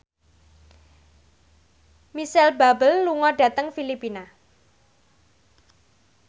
Micheal Bubble lunga dhateng Filipina